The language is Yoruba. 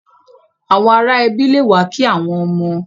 Àwọn ará ẹbi le wa ki àwọn ọmọ.